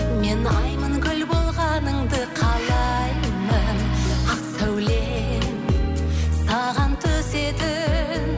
мен аймын гүл болғаныңды қалаймын ақ сәулем саған түсетін